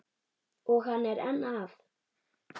Og hann er enn að.